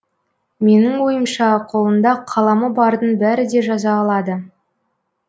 менің ойымша қолында қаламы бардың бәрі де жаза алады